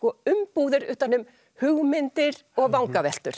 umbúðir utan um hugmyndir og vangaveltur